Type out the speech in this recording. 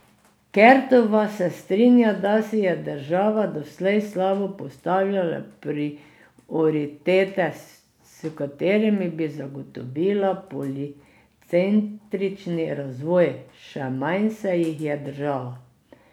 Kertova se strinja, da si je država doslej slabo postavljala prioritete, s katerimi bi zagotovila policentrični razvoj, še manj se jih je držala.